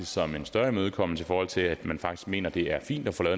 som en større imødekommelse i forhold til at man faktisk mener det er fint at få